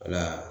Wala